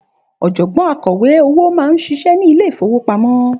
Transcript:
Òjògbọ́n akọ̀wé owó máa ń ṣiṣẹ́ ni Ilé-ìfowópamó